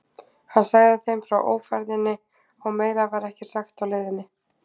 Hann sagði þeim frá ófærðinni og meira var ekki sagt á leiðinni.